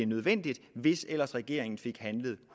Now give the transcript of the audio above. nødvendigt hvis ellers regeringen fik handlet